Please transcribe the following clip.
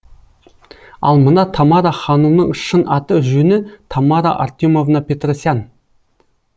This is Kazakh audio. ал мына тамара ханумның шын аты жөні тамара артемовна петросян